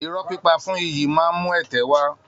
Irọ́ pípa fún iyì máa ń mú ẹ̀tẹ́ wá